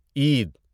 عید